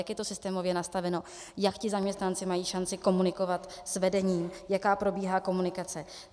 Jak je to systémově nastaveno, jak ti zaměstnanci mají šanci komunikovat s vedením, jaká probíhá komunikace.